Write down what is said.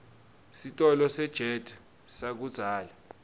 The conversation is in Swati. sitolo sejet sakudzala